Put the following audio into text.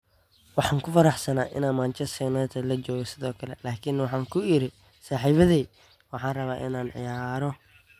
"Waxaan ku faraxsanaa inaan Manchester United la joogo sidoo kale, laakiin waxaan ku iri saaxiibbaday: waxaan rabaa inaan ciyaaro."